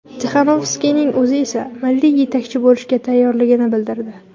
Tixanovskayaning o‘zi esa milliy yetakchi bo‘lishga tayyorligini bildirdi .